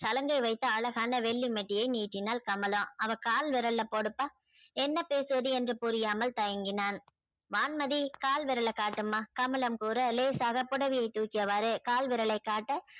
சலங்கை வைத்த அழகான வெள்ளி மெட்டியை நீட்டினாள் கமலா அவ கால விரல் ல போடுப்ப என்ன பேசுவது என்று புரியாமல் தயங்கினான வான்மதி கால் விரல காட்டுமா கமலம் கூற லேசாக புடவையை துக்கிய